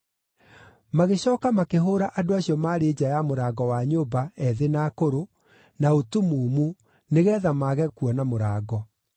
Magĩcooka makĩhũũra andũ acio maarĩ nja ya mũrango wa nyũmba, ethĩ na akũrũ, na ũtumumu nĩgeetha mage kuona mũrango.